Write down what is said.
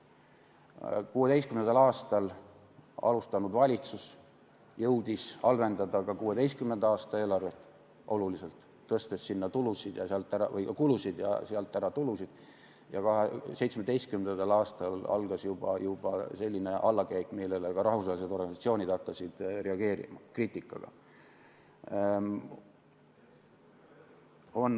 2016. aastal alustanud valitsus jõudis oluliselt halvendada ka 2016. aasta eelarvet, tõstes sinna juurde kulusid ja sealt ära tulusid, ja 2017. aastal algas juba selline allakäik, millele ka rahvusvahelised organisatsioonid hakkasid kriitikaga reageerima.